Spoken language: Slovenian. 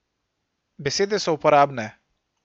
Besede so uporabne.